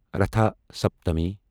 Ratha Saptami